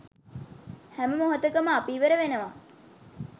හැම මොහොතකම අපි ඉවර වෙනවා